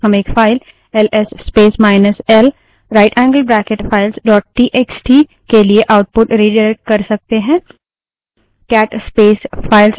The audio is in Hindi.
हम एक file L S space minus L right angled bracket file dot TXT ls space minus l rightangled bracket files txt के लिए output redirect कर सकते हैं